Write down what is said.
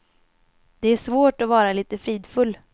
Det är svårt att vara lite fridfull.